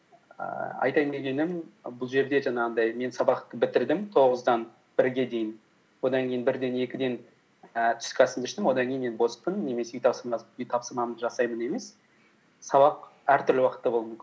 ііі айтайын дегенім бұл жерде жаңағындай мен сабақты бітірдім тоғыздан бірге дейін одан кейін бірден екіден і түскі асымды іштім одан кейін мен боспын немесе үй тапсырмамды жасаймын емес сабақ әртүрлі уақытта болуы мүмкін